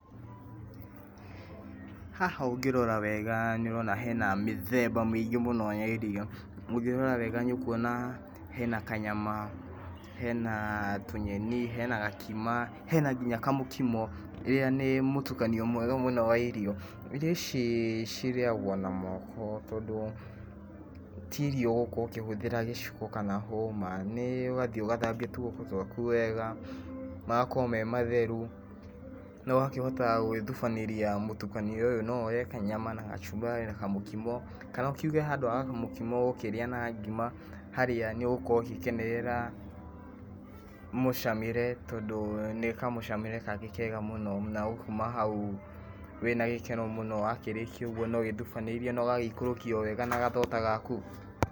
Haha ũngĩrora wega nĩ ũrona hena mĩthemba mĩingĩ mũno ya irio, ũngĩrora wega nĩ ũkuona hena kanyama, hena tũnyeni, hena gakima, hena nginya kamũkimo, ĩrĩa nĩ mũtukanio mwega wa irio, irio ici cirĩagwo na moko, tondũ ti irio ũgũkorwo ũkĩhũthĩra gĩciko kana hũma, nĩ ũgathiĩ ũgathambia tuoko twaku wega, magakorwo me matheru, na ũgakĩhota gũgĩthubanĩria mũtukanio ũyũ, no ũrĩe kanyama na gacumbari na kamũkimo, kana ukiuge handũ ha kamũkimo ũgũkĩrĩa na ngima, harĩa nĩ ũgũkorwo ũgĩgĩkenerera mũcamĩre tondũ nĩ kamũcamĩre kangĩ kega mũno, na ũkuma hau wĩna gĩkeno mũno, wakĩrĩkia ũguo nĩ wĩthubanĩirie na ũgagĩikũrũkia owega na gathonda gaku.